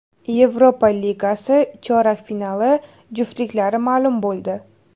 Yevropa Ligasi chorak finali juftliklari ma’lum bo‘ldi.